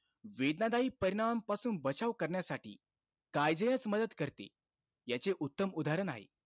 वेदनादायी परिणामांपासून बचाव करण्यासाठी काईझेनचं मदत करते, याचे उत्तम उदाहरण आहे.